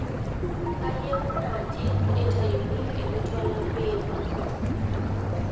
kayieu naaji nitayuni ele twala piiipi